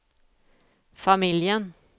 familjen